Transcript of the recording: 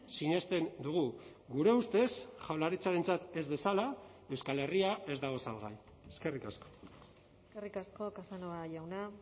sinesten dugu gure ustez jaurlaritzarentzat ez bezala euskal herria ez dago salgai eskerrik asko eskerrik asko casanova jauna